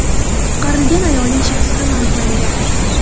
Qutqarilgan ayolning shaxsi ham aniqlangan.